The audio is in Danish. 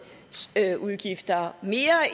udgifter mere